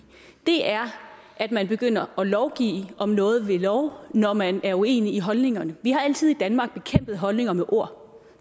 er at man begynder at lovgive om noget ved lov når man er uenig i holdningerne vi har altid i danmark bekæmpet holdninger med ord